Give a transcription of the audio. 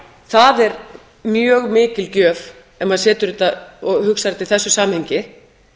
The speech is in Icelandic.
það er mjög mikil gjöf ef maður hugsar þetta í þessu samhengi